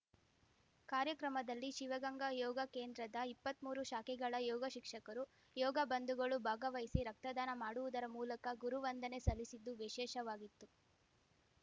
ಕಾರ್ಯಕ್ರಮದಲ್ಲಿ ಶಿವಗಂಗಾ ಯೋಗ ಕೇಂದ್ರದ ಇಪ್ಪತ್ಮೂರು ಶಾಖೆಗಳ ಯೋಗಶಿಕ್ಷಕರು ಯೋಗ ಬಂಧುಗಳು ಭಾಗವಹಿಸಿ ರಕ್ತದಾನ ಮಾಡುವುದರ ಮೂಲಕ ಗುರುವಂದನೆ ಸಲ್ಲಿಸಿದ್ದು ವಿಶೇಷವಾಗಿತ್ತು